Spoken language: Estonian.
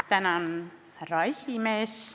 Austatud härra esimees!